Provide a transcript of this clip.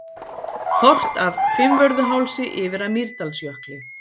Horft af Fimmvörðuhálsi yfir að Mýrdalsjökli.